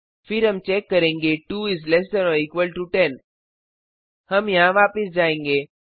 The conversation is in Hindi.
फिर हम चेक करेंगे 2 is less than or equal to 10 हम यहाँ वापस जाएंगे